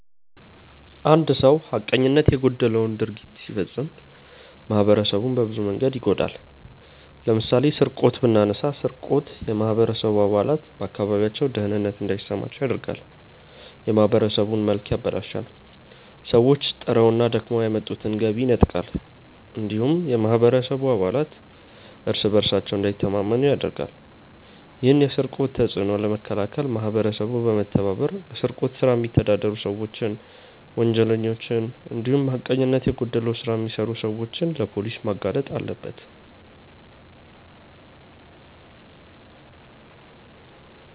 አንድ ሰው ሀቀኝነት የጎደለው ድርጊት ሲፈጽም ማህበረሰቡን በብዙ መንገድ ይጎዳል። ለምሳሌ ስርቆትን ብናነሳ ስርቆት የማህበረሰቡ አባላት በአካባቢያቸው ደህንነት እንዳይሰማቸው ያደርጋል፣ የማህበረሰቡን መልክ ያበላሻል፣ ሰዎች ጥረውና ደክመው ያመጡትን ገቢ ይነጥቃል እንዲሁም የማህበረሰቡ አባላት እርስ በእርሳቸው እንዳይተማመኑ ያደርጋል። ይህን የስርቆት ተጽዕኖ ለመከላከል ማህበረሰቡ በመተባበር በስርቆት ስራ የሚተዳደሩ ሰዎችን፣ ወንጀለኞችን እንዲሁም ሀቀኝነት የጎደለው ስራ የሚሰሩ ሰዎችን ለፖሊስ ማጋለጥ አለበት።